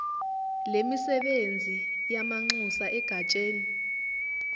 lemisebenzi yamanxusa egatsheni